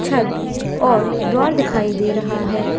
छत और द्वार दिखाई दे रहा है।